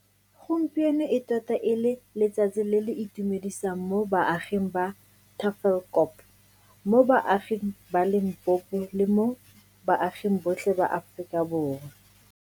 Gompieno e tota e le letsatsi le le itumedisang mo baaging ba Tafelkop, mo baaging ba Limpopo, le mo baaging botlhe ba Aforika Borwa.